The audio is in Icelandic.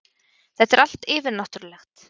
Þetta er allt yfirnáttúrulegt.